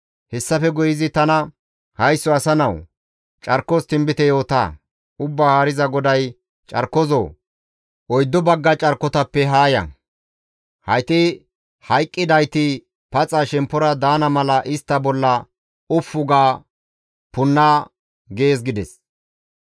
Hessafe guye izi tana, «Haysso asa nawu! Carkos tinbite yoota; Ubbaa Haariza GODAY, ‹Carkozoo, oyddu bagga carkotappe haa ya; hayti hayqqidayti shemppora paxa daana mala istta bolla ufu ga punna› gees» gides.